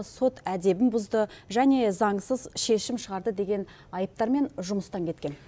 сот әдебін бұзды және заңсыз шешім шығарды деген айыптармен жұмыстан кеткен